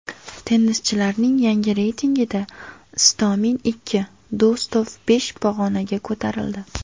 Tennischilarning yangi reytingida Istomin ikki, Do‘stov besh pog‘onaga ko‘tarildi.